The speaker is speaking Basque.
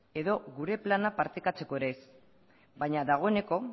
edo gure plana partekatzeko ere ez baina dagoeneko